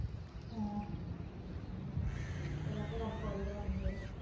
ਹਾਂ ਹਮ ਚੱਲ ਆਪੇ ਰੱਬ ਪਾਦੂ ਰਾਤ ਨੂੰ ਹੋਰ